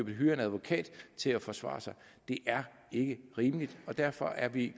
hyre en advokat til at forsvare sig det er ikke rimeligt og derfor er vi